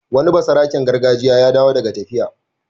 Wani basaraken gargajiya ya dawo daga tafiya.